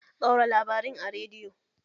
Ɗaura labarin a rediyo!